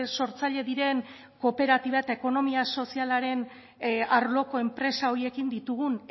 sortzaile diren kooperatiba eta ekonomia sozialaren arloko enpresa horiekin ditugun